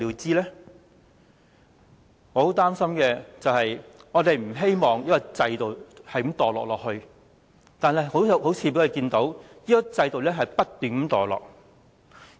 我十分擔憂的是，雖然我們不希望這制度繼續墮落下去，但我們彷彿看到這制度不斷墮落。